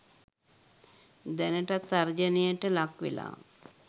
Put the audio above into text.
දැනටත් තර්ජනයට ලක් වෙලා